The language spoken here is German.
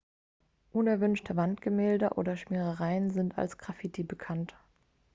unerwünschte wandgemälde oder schmierereien sind als graffiti bekannt